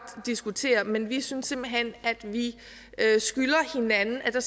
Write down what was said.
diskutere men vi synes simpelt hen at vi skylder hinanden at der